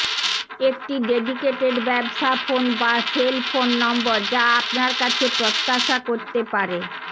একটি ডেডিকেটেড ব্যবসা ফোন বা সেল ফোন নম্বর যা আপনার কাছে প্রত্যাশা করতে পারে